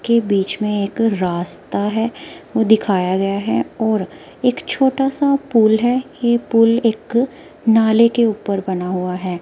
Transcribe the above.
के बीच में एक रास्ता है वो दिखाया गया है और एक छोटा सा पुल है ये पुल एक नाले के ऊपर बना हुआ है।